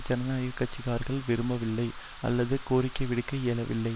ஜனநாயக கட்சி காரர்கள் விரும்பவில்லை அல்லது கோரிக்கைவிடுக்க இயலவில்லை